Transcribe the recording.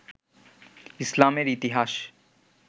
ইসলামের ইতিহাস